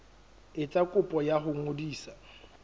etsa kopo ya ho ngodisa